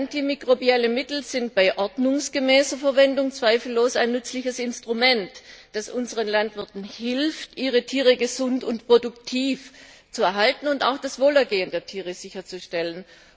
Antimikrobielle Mittel sind bei ordnungsgemäßer Verwendung zweifellos ein nützliches Instrument, das unseren Landwirten hilft, ihre Tiere gesund und produktiv zu erhalten und auch das Wohlergehen der Tiere sicherzustellen.